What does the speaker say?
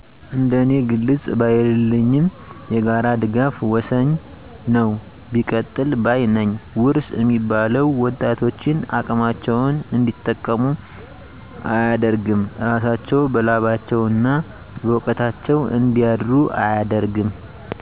እንደ እኔ ግልፅ ባይንልኝም የጋራ ድጋፍ ወሠኝ ነው ቢቀጥል ባይ ነኝ ውርስ እሚባለው ወጣቶችን አቅማቸውን እንዲጠቀሙ አደርግም እራሳቸው በላባቸው እና በውቀታቸው እንዲያድሩ አያደርግም።